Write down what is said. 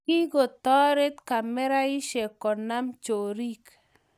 Kikotorit kamersaishek konam chorik